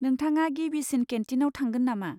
नोंथाङा गिबिसिन केन्टिनाव थांगोन नामा?